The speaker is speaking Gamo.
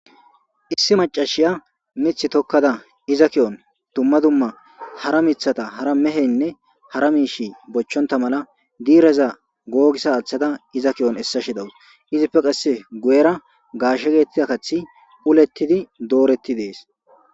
Issi mac'ashiya mithi tokada iza kiyon duma duma hara mitata hara mehene hara mishi bochonta mala diraza gogisa athada iza kiyon esashe de'awus izipe qase guyera gashe getetiza kathi uletidi doretides.